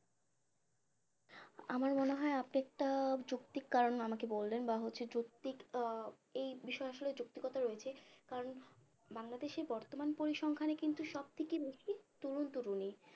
আমার মনে হয় আপনি একটা যৌক্তিক কারণ আমাকে বললেন বা হচ্ছে যৌক্তিক আহ এই বিষয়ে আসলে যৌক্তিকতা রয়েছে কারণ বাংলাদেশের বর্তমান পরিসংখ্যানে কিন্তু সব থেকে বেশি তরুণ তরুণী